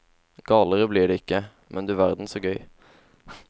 Galere blir det ikke, men du verden så gøy.